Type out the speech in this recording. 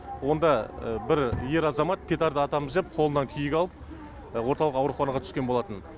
онда бір ер азамат петарда атамыз деп қолынан күйік алып орталық ауруханаға түскен болатын